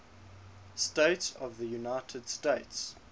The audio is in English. states of the united states